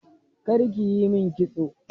Kar ki yi min kitso.